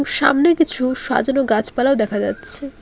সামনে কিছু সাজানো গাছপালাও দেখা যাচ্ছে।